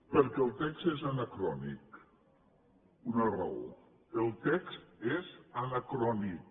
perquè el text és anacrònic una raó el text és anacrònic